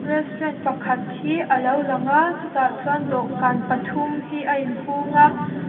restaurant pakhat hi a lo lang a chu tah chuan dawhkan pathum hi a in hung a.